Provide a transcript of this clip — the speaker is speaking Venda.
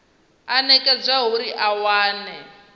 o nekedzwaho uri a wane